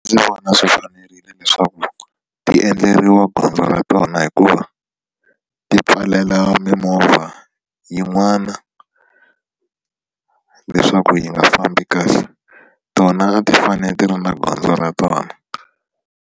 Ndzi vona swi fanerile leswaku ti endleriwa gondzo ra tona hikuva ti pfalela mimovha yin'wana leswaku yi nga fambi kahle tona a ti fane ti ri na gondzo ra tona.